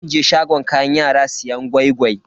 Zan je shagon kayan yara siyan gwai-gwai.